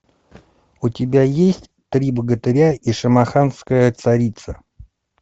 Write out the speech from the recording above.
у тебя есть три богатыря и шамаханская царица